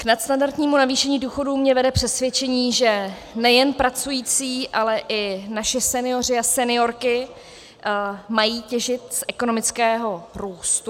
K nadstandardnímu navýšení důchodů mě vede přesvědčení, že nejen pracující, ale i naši senioři a seniorky mají těžit z ekonomického růstu.